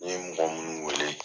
N ye mɔgɔ minnu wele.